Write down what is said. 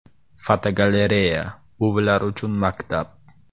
Fotogalereya: “Buvilar uchun maktab”.